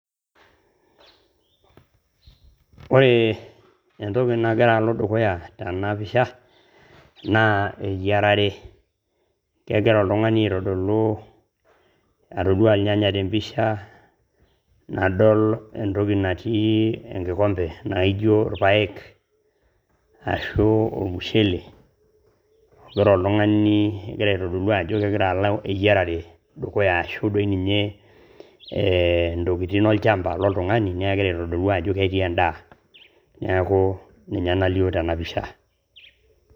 ore entoki nagira alo dukuya tena pisha naa eyiarare atodua irnyanya tempisha, nadol entoki natii engikombe naaijo irpaek otii , ashu ormushele ,egira aitodolu ajo eyiarare naloito dukuya ashu dii ninye intokitin olchamba lontung'ani neeku kegira aitodolu ajo ketii edaa ,neeku ninye nalio tena pisha.